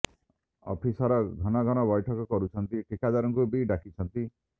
officer ଘନ ଘନ ବ୘ଠକ କରୁଛନ୍ତି ଠିକାଦାରଙ୍କୁ ବି ଡାକିଛନ୍ତି